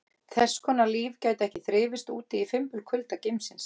Þess konar líf gæti ekki þrifist úti í fimbulkulda geimsins.